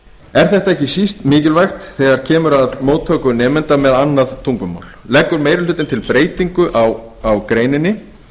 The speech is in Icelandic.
er þetta ekki síst mikilvægt þegar kemur að móttöku nemenda með annað tungumál leggur meiri hlutinn til breytingu á greininni þar sem